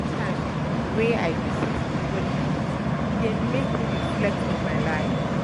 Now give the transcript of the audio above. Anytime um wey um I visit di holy place, e dey make me reflect on my life.